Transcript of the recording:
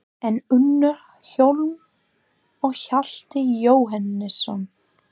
En Unnar Hólm og Hjalti Jóhannesson?